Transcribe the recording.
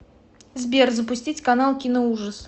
сбер запустить канал киноужас